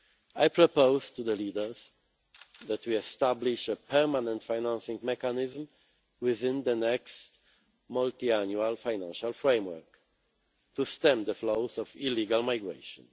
I propose to the leaders that we establish a permanent financing mechanism within the next Multiannual Financial Framework to stem the flows of illegal migration.